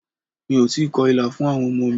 Mi ò tíì kọ ìlà fún àwọn ọmọ mi.